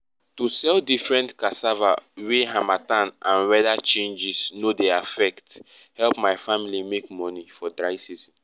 to sell different cassava wey harmattan and weather changes no dey affect help my family make money for dry season